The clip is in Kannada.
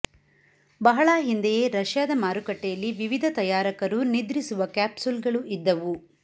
ಬಹಳ ಹಿಂದೆಯೇ ರಷ್ಯಾದ ಮಾರುಕಟ್ಟೆಯಲ್ಲಿ ವಿವಿಧ ತಯಾರಕರು ನಿದ್ರಿಸುವ ಕ್ಯಾಪ್ಸುಲ್ಗಳು ಇದ್ದವು